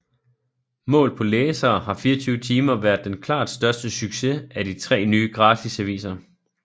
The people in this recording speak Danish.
Målt på læsere har 24timer været den klart største succes af de tre nye gratisaviser